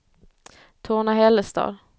Torna-Hällestad